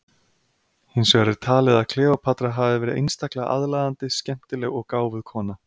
Hins vegar er talið að Kleópatra hafi verið einstaklega aðlaðandi, skemmtileg og gáfuð kona.